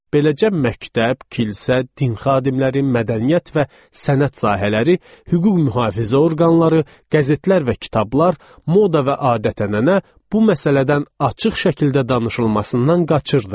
Beləcə məktəb, kilsə, din xadimləri, mədəniyyət və sənət sahələri, hüquq mühafizə orqanları, qəzetlər və kitablar, moda və adət-ənənə bu məsələdən açıq şəkildə danışılmasından qaçırdı.